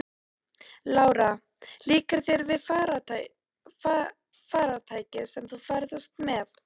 Lára: Líkar þér við farartækið sem þú ferðast með?